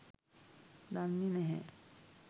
දන්නෙ නැහැ